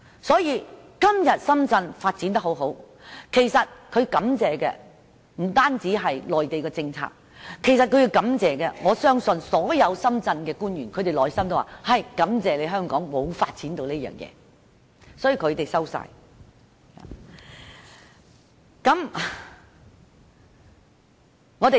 所以，今天深圳發展得這麼好，他們要感謝的，不單是內地的政策，我相信所有深圳官員內心都會感謝香港沒有發展這些產業，他們全部接收了。